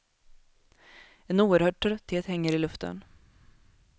En oerhörd trötthet hänger i luften.